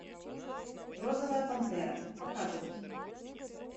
розовая пантера показывай